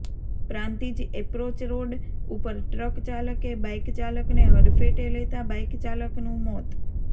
Prantij approach road ઉપર truck ચાલકે bike ચાલક ને હડફેટે લેતાં બાઇક ચાલક નું મોત